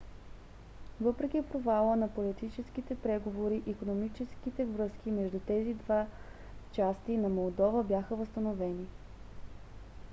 въпреки провала на политическите преговори икономическите връзки между тези две части на молдова бяха възстановени